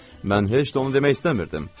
Mən heç də onu demək istəmirdim.